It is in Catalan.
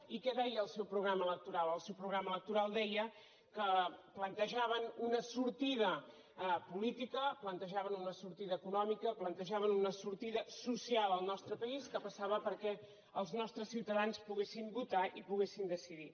i què deia el seu programa electoral el seu programa electoral deia que plantejaven una sortida política plantejaven una sortida econòmica plantejaven una sortida social al nostre país que passava perquè els nostres ciutadans poguessin votar i poguessin decidir